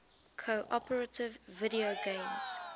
cooperative video games